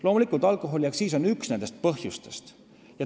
Loomulikult on alkoholiaktsiis üks nendest asjadest.